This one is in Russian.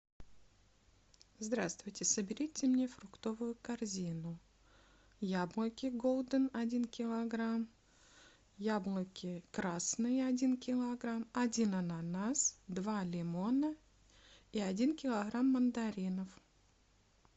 здравствуйте соберите мне фруктовую корзину яблоки голден один килограмм яблоки красные один килограмм один ананас два лимона и один килограмм мандаринов